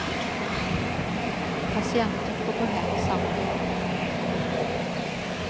Patienten får gå hem samma dag.